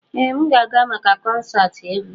Ee m ga-aga maka konserti egwu.